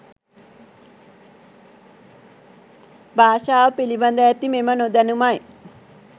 භාෂාව පිළිබඳ ඇති මෙම නොදැනුමයි.